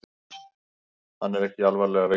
Hann er ekki alvarlega veikur